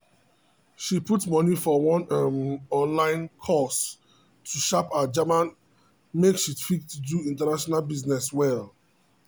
she put money for one um online course to sharp her german make she fit do international business well.